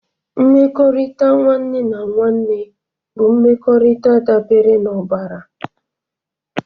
Mmekọrịta nwanne na nwanne bụ mmekọrịta dabere n'ọbara.